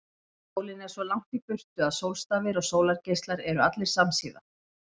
Sólin er svo langt í burtu að sólstafir og sólargeislar eru allir samsíða.